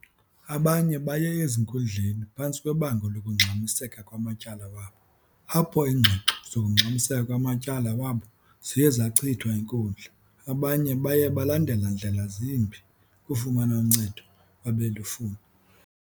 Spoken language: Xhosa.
Abanye baye ezinkundleni phantsi kwebango lokungxamiseka kwamatyala wabo apho iingxoxo zokungxamiseka kwamatyala wabo ziye zachithwa yinkundla abanye baye balandela ndlela zimbi ukufumana uncedo abelufuna.